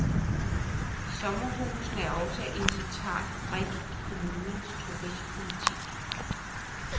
Sommerhusene er også en central brik i kommunernes turistpolitik.